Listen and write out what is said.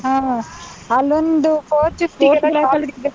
ಹ ಹ. ಅಲ್ಲೊಂದ್ four fifty ಗೆ .